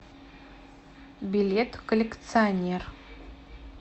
билет коллекционер